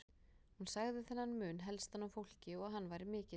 Hún sagði þennan mun helstan á fólki og hann væri mikill.